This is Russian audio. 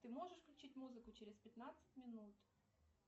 ты можешь включить музыку через пятнадцать минут